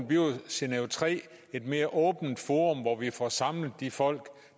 bliver genève iii et mere åbent forum hvor vi får samlet de folk